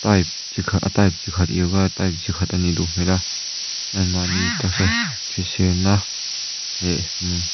type chikhat a type chikhat yoga type chikhat anih duh hmel a anmahni taksa hriselna eee mm --